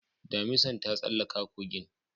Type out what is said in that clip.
Damisan ta tsallaka kogin